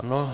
Ano.